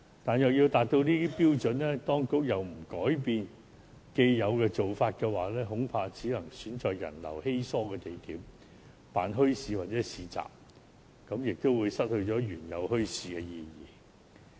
但是，要達到這些範疇的標準，當局又不改變既有做法的話，恐怕只能選在人流稀疏的地點舉辦墟市或市集，這便會令墟市失去原有的意義。